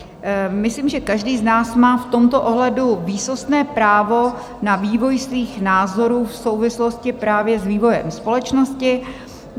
Myslím, že každý z nás má v tomto ohledu výsostné právo na vývoj svých názorů v souvislosti právě s vývojem společnosti.